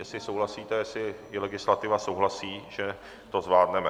Jestli souhlasíte, jestli i legislativa souhlasí, že to zvládneme.